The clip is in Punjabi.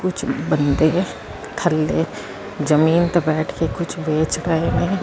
ਕੁਛ ਬੰਦੇ ਥੱਲੇ ਜਮੀਨ ਤੇ ਬੈਠ ਕੇ ਕੁਛ ਵੇਚ ਰਹੇ ਨੇ।